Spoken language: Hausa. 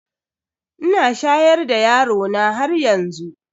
Ina shayar da yarona haryanzu.